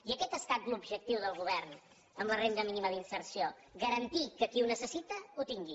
i aquest ha estat l’objectiu del govern amb la renda mínima d’inserció garantir que qui ho necessita ho tingui